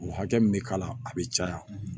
O hakɛ min bɛ k'a la a bɛ caya